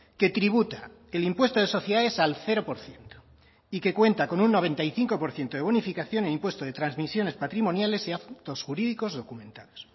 que tributa el impuesto de sociedades al cero por ciento y que cuenta con un noventa y cinco por ciento de bonificación en el impuesto de transmisiones patrimoniales y actos jurídicos documentados